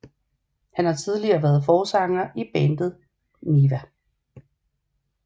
Han har tidligere været forsanger i bandet Neeva